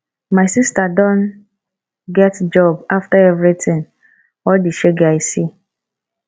my sister don get job after everything all the shege i see